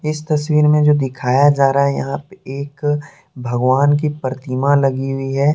इस तस्वीर में जो दिखाया जा रहा है यहाँ पे एक भगवान की प्रतिमा लगी हुई है।